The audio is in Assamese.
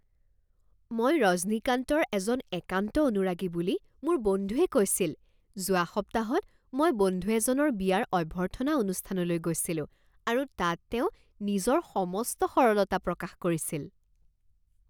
মই ৰজনীকান্তৰ এজন একান্ত অনুৰাগী বুলি মোৰ বন্ধুৱে কৈছিল। "যোৱা সপ্তাহত মই বন্ধু এজনৰ বিয়াৰ অভ্যৰ্থনা অনুষ্ঠানলৈ গৈছিলোঁ আৰু তাত তেওঁ নিজৰ সমস্ত সৰলতা প্ৰকাশ কৰিছিল"